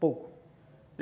Pouco.